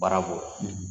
Baarako